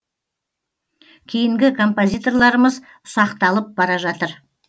кейінгі компазиторларымыз ұсақталып бара жатыр